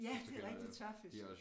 Ja det rigtigt tørfisk